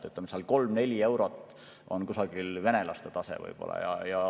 Kusagil 3–4 eurot on võib‑olla venelaste tase.